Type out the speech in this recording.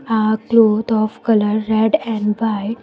A cloth of colour red and white.